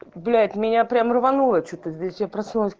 блять меня прям рванула что ты здесь я проснулась